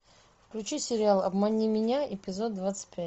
включи сериал обмани меня эпизод двадцать пять